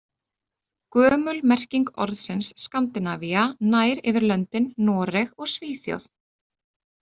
Gömul merking orðsins Skandinavía nær yfir löndin Noreg og Svíþjóð.